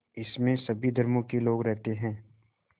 इसमें सभी धर्मों के लोग रहते हैं